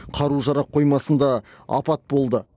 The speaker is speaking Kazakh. қару жарақ қоймасында апат болды